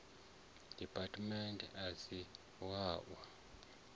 department a si wa u